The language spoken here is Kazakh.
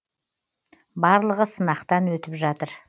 барлығы сынақтан өтіп жатыр